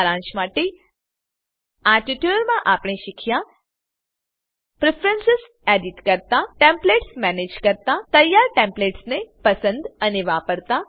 સારાંશ માટે આ ટ્યુટોરીયલમાં આપણે શીખ્યા પ્રેફરન્સ એડિટ કરતા ટેમ્પલેટ્સ મેનેંજ કરતા તૈયારTemplates ને પસંદ અને વાપરતા